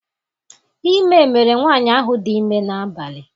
Ime mere nwaanyị ahụ dị ime n'abalị.